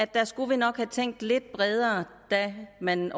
der skulle man nok have tænkt lidt bredere da man